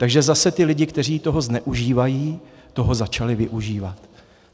Takže zase ti lidé, kteří toho zneužívají, toho začali využívat.